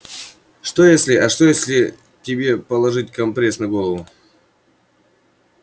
что если а что если тебе положить компресс на голову